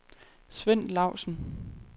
Svend Lausen